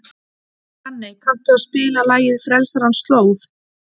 Hanney, kanntu að spila lagið „Frelsarans slóð“?